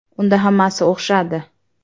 Unda hammasi o‘xshadi.